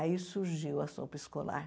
Aí surgiu a sopa escolar.